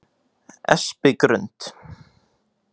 Espigrund